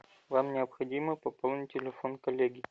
вам необходимо пополнить телефон коллеги